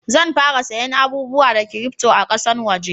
Zan fara saya abubuwa da kirifto a kasan waje